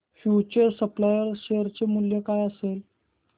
future supply share चे मूल्य काय असेल